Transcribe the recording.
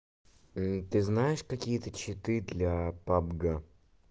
ты знаешь какие-то читы для пабга